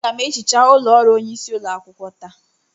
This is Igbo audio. Aga m ehicha ụlọ ọrụ onyeisi ụlọakwukwo taa.